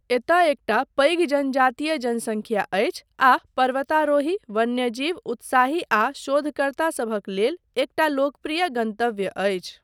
एतय एकटा पैघ जनजातीय जनसंख्या अछि आ पर्वतारोही, वन्यजीव उत्साही आ शोधकर्ता सभक लेल एकटा लोकप्रिय गन्तव्य अछि।